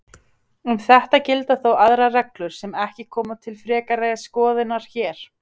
Um þetta gilda þó aðrar reglur sem ekki koma til frekari skoðunar hér.